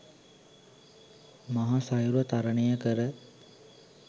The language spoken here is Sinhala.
මහ සයුර තරණය කර